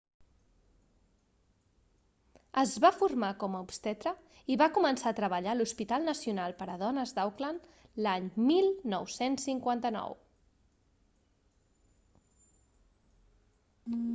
es va formar com a obstetre i va començar a treballar a l'hospital nacional per a dones d'auckland l'any 1959